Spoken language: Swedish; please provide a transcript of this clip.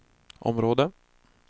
område